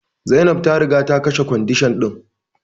Zainab ta riga ta kashe kwandishan din.